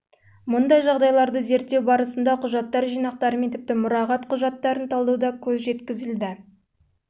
мұндай жағдайларды зерттеу барысында құжаттар жинақтары мен тіпті мұрағат құжаттарын талдауда көз жеткізілді